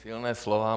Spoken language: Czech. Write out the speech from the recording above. Silná slova.